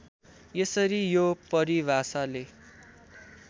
यसरी यो परिभाषाले